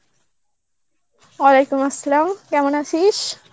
Arbi কেমন আছিস?